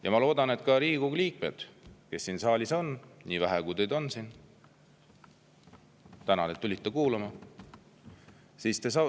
Ja ma loodan, et ka Riigikogu liikmed, kes siin saalis on – nii vähe, kui teid siin ka ei ole, tänan, et tulite kuulama!